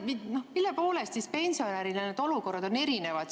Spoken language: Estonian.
Mille poolest siis pensionäridel need olukorrad on erinevad.